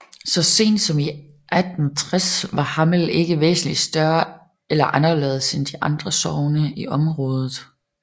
Så sent som i 1860 var Hammel ikke væsentligt større eller anderledes end de andre sogne i området